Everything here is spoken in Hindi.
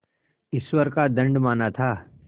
ईश्वर का दंड माना था